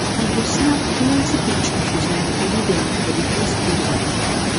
i go snap plenty pictures wit my paddy dem for di festival